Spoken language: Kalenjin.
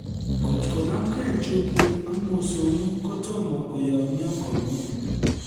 Ngotkonamgei chumbik ak mosongik kotomo koyomyo komye